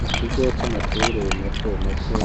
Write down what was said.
Mu kigo c'amashure mato mato